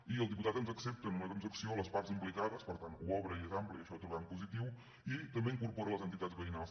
i el diputat ens accepta en una transacció les parts impli·cades per tant ho obre i és ampli i això ho trobem positiu i també hi incorpora les entitats veïnals